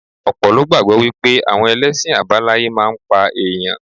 Ọ̀pọ̀ ló gbàgbọ́ wípé àwọn ẹlẹ́sìn àbáláyé máa ń pa ẹ̀yàn.